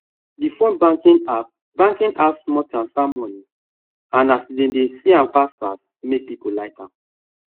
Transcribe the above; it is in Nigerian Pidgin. the phone banking app banking app small transfer money and as dem dey see m fast fast make people like m